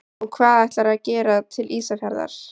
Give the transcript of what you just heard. Og hvað ætlarðu að gera til Ísafjarðar?